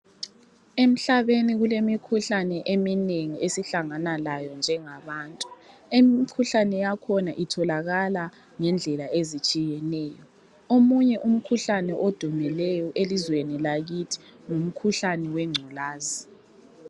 Emhlabeni kulemikhuhlane eminengi esihlangana layo njengabantu, imikhuhlane yakhona itholakala ngendlela ezitshiyeneyo omunye umkhuhlane odumileyo elizweni lakithi ngumkhuhlane wengculaza.